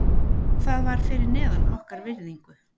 Það var fyrir neðan okkar virðingu.